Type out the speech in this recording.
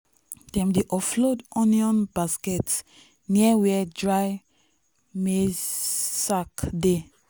dem dey offload onion basket near where dry maize sacks dey.